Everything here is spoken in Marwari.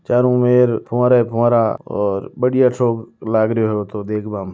चारों मेर फुवारा ही फुवारा और बढ़िया सो लाग रियो है ओ तो देखबा में।